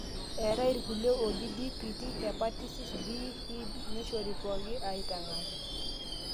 eetai irkulie ooji DPT, hepatitis B, Hib neishori pooki aaitang'aki